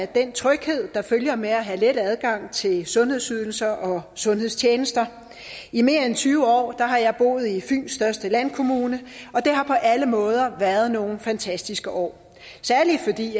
den tryghed der følger med det at have let adgang til sundhedsydelser og sundhedstjenester i mere end tyve år har jeg boet i fyns største landkommune og det har på alle måder været nogle fantastiske år særlig fordi